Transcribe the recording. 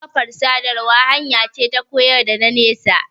Kafar sadarwa hanya ce ta koyar da zamantakewa.